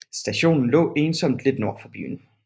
Stationen lå ensomt lidt nord for byen